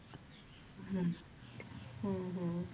ਹਮ ਹਮ ਹਮ